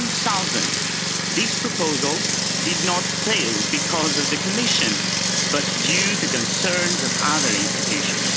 2000. This proposal did not fail because of the Commission, but due to concerns of other institutions.